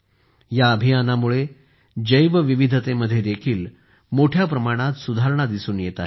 या अभियानामुळे जैवविविधतेमध्ये देखील मोठ्या प्रमाणात सुधारणा दिसून येत आहे